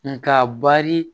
Nga bari